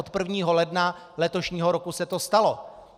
Od 1. ledna letošního roku se to stalo.